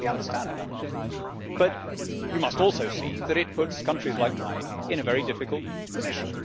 I completely understand that. But you must also see that it puts countries like mine in a very difficult position.